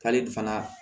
K'ale fana